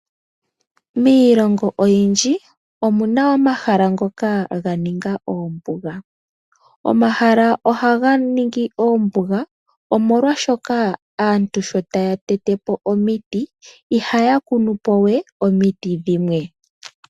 Miilongo oyindji omuna omahala ngoka ga ninga oombuga. Omahala ohaga ningi oombuga omolwashoka aantu sho taya tetepo omiti ihaya kunu po we omiti dhimwe.